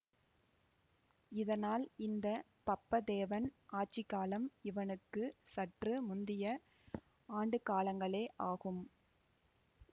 இதனால் இந்த பப்பதேவன் ஆட்சி காலம் இவனுக்கு சற்று முந்திய ஆண்டுக்காலங்களே ஆகும்